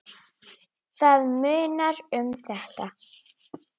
Það munar um þetta.